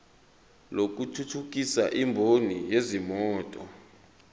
lokuthuthukisa imboni yezimoto